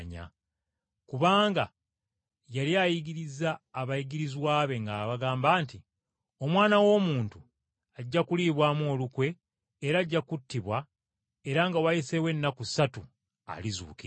Kubanga yali ayigiriza abayigirizwa ng’abagamba nti, “Omwana w’Omuntu, ajja kuliibwamu olukwe era ajja kuweebwayo mu mikono gy’abantu abalimutta era nga wayise ennaku ssatu alizuukira.”